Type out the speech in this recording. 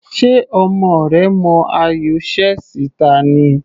Ṣe ọmọ rẹ mọ ayò chess ta ni?